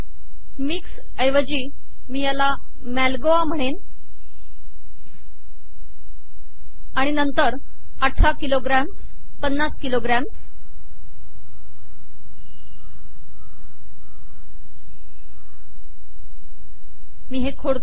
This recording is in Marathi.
मिक्स्डच्या ऐवजी मी याला मँगोज म्हणेन आणि नंतर 18 किलोग्रँम्स् 50 किलोग्रँम्स मी हे खोडते